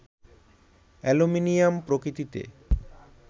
aluminium প্রকৃতিতে